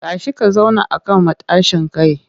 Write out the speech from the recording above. Tashi ka zauna a kan matashin kai!